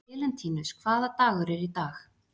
Elentínus, hvaða dagur er í dag?